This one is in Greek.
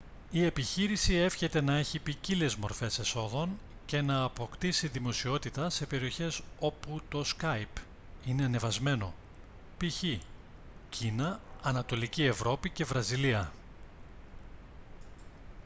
η επιχείρηση εύχεται να έχει ποικίλες μορφές εσόδων και να αποκτήσει δημοσιότητα σε περιοχές όπου το σκάυπ είναι ανεβασμένο π.χ. κίνα ανατολική ευρώπη και βραζιλία